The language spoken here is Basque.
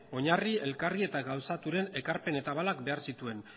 oinarri elkargi eta gauzaturen ekarpen eta abalak behar zituen